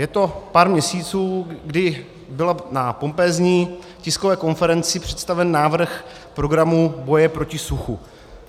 Je to pár měsíců, kdy byl na pompézní tiskové konferenci představen návrh programu boje proti suchu.